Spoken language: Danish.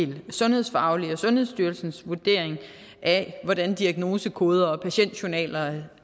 det sundhedsfaglige og sundhedsstyrelsens vurdering af hvordan diagnosekoder og patientjournaler